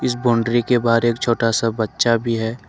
इस बाउंड्री के बाहर एक छोटा सा बच्चा भी है।